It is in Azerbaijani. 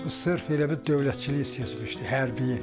O sırf elə bil dövlətçiliyi seçmişdi hərbiyi.